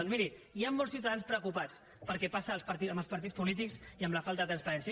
doncs miri hi han molts ciutadans preocupats pel que passa als partits polítics i per la falta de transparència